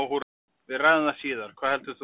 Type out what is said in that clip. Við ræðum það síðar, hvað heldur þú?